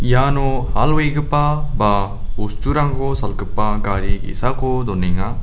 iano hal wegipa ba bosturangko salgipa gari ge·sako donenga.